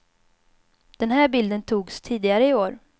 Den här bilden togs tidigare i år.